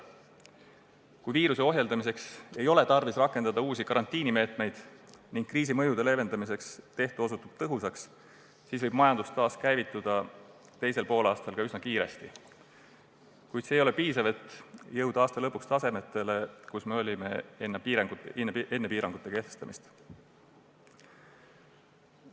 Kui viiruse ohjeldamiseks ei ole tarvis rakendada uusi karantiinimeetmeid ning kriisi mõjude leevendamiseks tehtu osutub tõhusaks, siis võib majandus teisel poolaastal üsna kiiresti taaskäivituda, kuid see ei ole piisav, et jõuda aasta lõpuks tasemele, kus me olime enne piirangute kehtestamist.